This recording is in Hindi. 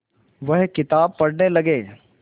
वह किताब पढ़ने लगे